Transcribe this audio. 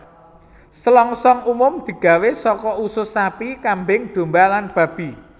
Selongsong umum digawé saka usus sapi kambing domba lan babi